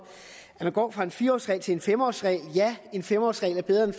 at man går fra en fire årsregel til en fem årsregel ja en fem årsregel er bedre end